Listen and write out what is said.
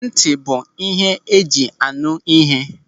Nti bụ ihe eji a nụ ihe.